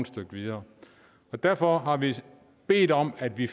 stykke videre derfor har vi bedt om at vi